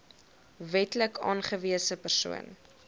wetlik aangewese persoon